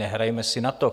Nehrajeme si na to.